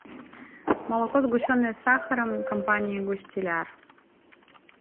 молоко сгущенное с сахаром компании густияр